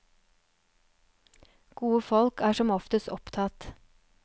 Gode folk er som oftest opptatt.